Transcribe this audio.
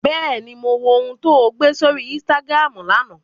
Bẹ́ẹ̀ni, mo wo ohun tó gbé sórí Instagram lánàá